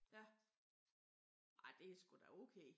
Ja. Ej det er sgu da okay